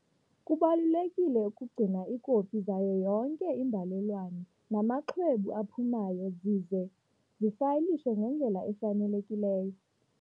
Kubalulekile ukugcina iikopi zayo yonke imbalelwano namaxwebhu aphumayo zize zifayilishwe ngendlela efanelekileyo.